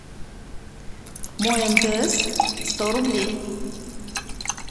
мой мтс сто рублей